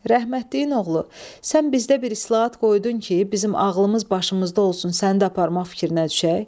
Rəhmətliyin oğlu, sən bizdə bir islahat qoydun ki, bizim ağlımız başımızda olsun sən də aparmaq fikrinə düşək?